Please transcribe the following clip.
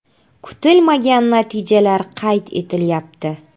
Kutilmagan natijalar qayd etilyapti.